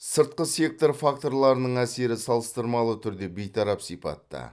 сыртқы сектор факторларының әсері салыстырмалы түрде бейтарап сипатта